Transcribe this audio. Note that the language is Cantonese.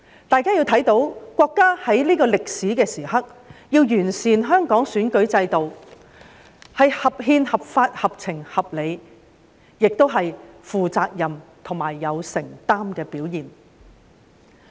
大家看到國家在這個歷史時刻要完善香港選舉制度，是合憲、合法、合情、合理，也是負責任及有承擔的表現。